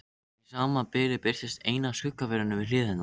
Í sama bili birtist ein af skuggaverunum við hlið hennar.